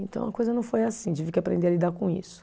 Então, a coisa não foi assim, tive que aprender a lidar com isso.